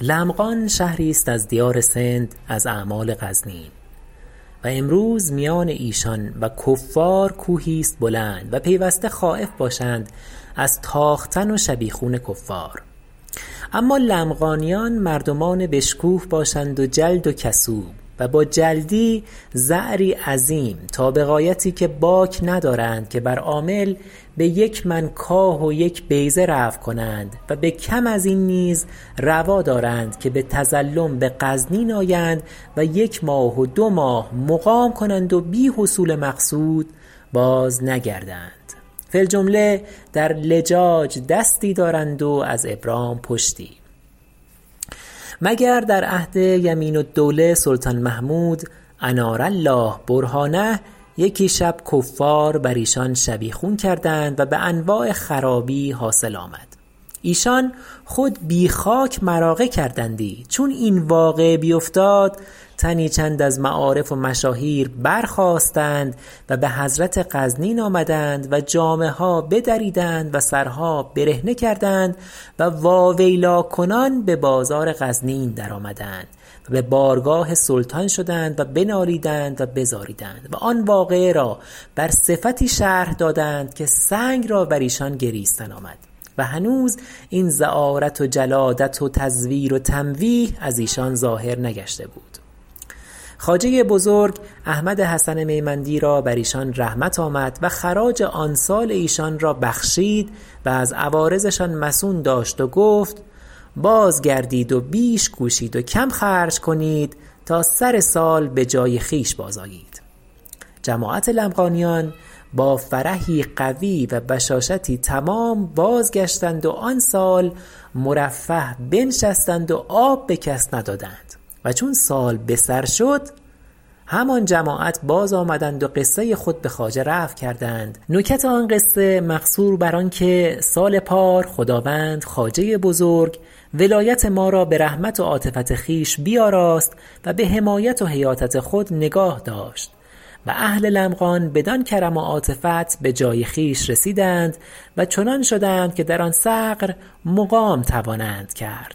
لمغان شهری است از دیار سند از اعمال غزنین و امروز میان ایشان و کفار کوهی است بلند و پیوسته خایف باشند از تاختن و شبیخون کفار اما لمغانیان مردمان بشکوه باشند و جلد و کسوب و با جلدی زعری عظیم تا به غایتی که باک ندارند که بر عامل به یک من کاه و یک بیضه رفع کنند و به کم ازین نیز روا دارند که به تظلم به غزنین آیند و یک ماه و دو ماه مقام کنند و بی حصول مقصود باز نگردند فی الجمله در لجاج دستی دارند و از ابرام پشتی مگر در عهد یمین الدوله سلطان محمود انار الله برهانه یکی شب کفار بر ایشان شبیخون کردند و به انواع خرابی حاصل آمد ایشان خود بی خاک مراغه کردندی چون این واقعه بیفتاد تنی چند از معارف و مشاهیر برخاستند و به حضرت غزنین آمدند و جامه ها بدریدند و سرها برهنه کردند و واویلا کنان به بازار غزنین درآمدند و به بارگاه سلطان شدند و بنالیدند و بزاریدند و آن واقعه را بر صفتی شرح دادند که سنگ را بر ایشان گریستن آمد و هنوز این زعارت و جلادت و تزویر و تمویه از ایشان ظاهر نگشته بود خواجه بزرگ احمد حسن میمندی را بر ایشان رحمت آمد و خراج آن سال ایشان را ببخشید و از عوارضشان مصون داشت و گفت باز گردید و بیش کوشید و کم خرج کنید تا سر سال به جای خویش باز آیید جماعت لمغانیان با فرحی قوی و بشاشتی تمام بازگشتند و آن سال مرفه بنشستند و آب به کس ندادند و چون سال به سر شد همان جماعت باز آمدند و قصه خود بخواجه رفع کردند نکت آن قصه مقصور بر آن که سال پار خداوند خواجه بزرگ ولایت ما را به رحمت و عاطفت خویش بیاراست و به حمایت و حیاطت خود نگاه داشت و اهل لمغان بدان کرم و عاطفت به جای خویش رسیدند و چنان شدند که در آن ثغر مقام توانند کرد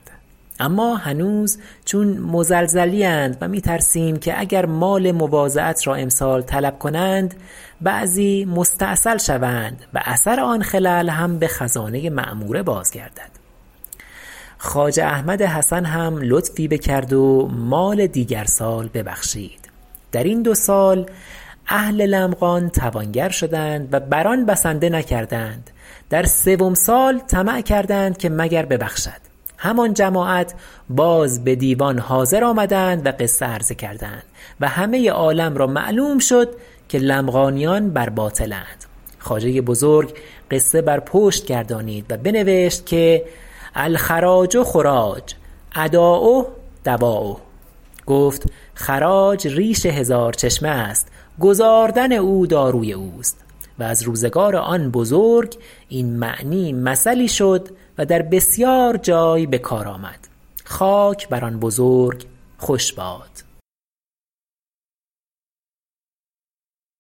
اما هنوز چون مزلزلی اند و می ترسیم که اگر مال مواضعت را امسال طلب کنند بعضی مستأصل شوند و اثر آن خلل هم به خزانه معموره بازگردد خواجه احمد حسن هم لطفی بکرد و مال دیگر سال ببخشید در این دو سال اهل لمغان توانگر شدند و بر آن بسنده نکردند در سوم سال طمع کردند که مگر ببخشد همان جماعت باز به دیوان حاضر آمدند و قصه عرضه کردند و همه عالم را معلوم شد که لمغانیان بر باطل اند خواجه بزرگ قصه بر پشت گردانید و بنوشت الخراج خراج اداؤه دوایه گفت خراج ریش هزار چشمه است گزاردن او داروی اوست و از روزگار آن بزرگ این معنی مثلی شد و در بسیار جای به کار آمد خاک بر آن بزرگ خوش باد